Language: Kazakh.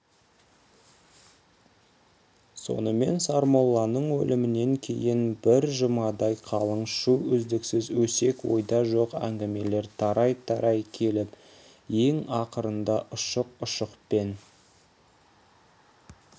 сонымен сармолланың өлімінен кейін бір жұмадай қалың шу үздіксіз өсек ойда жоқ әңгімелер тарай-тарай келіп ең ақырында ұшық-ұшықпен